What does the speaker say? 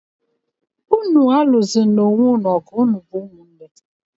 Ụnụ alụsozịna onwé ụnụ ọgụ, ụnụ bụ ụmụ nné!